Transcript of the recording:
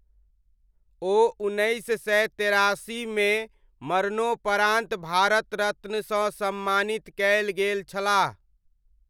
ओ उन्नैस सय तेरासीमे मरणोपरान्त भारतरत्नसँ सम्मानित कयल गेल छलाह।